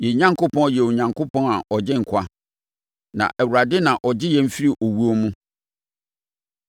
Yɛn Onyankopɔn yɛ Onyankopɔn a ɔgye nkwa; na Awurade na ɔgye yɛn firi owuo mu.